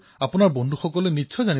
বিনোলে কিসৌঃ হয় মহাশয়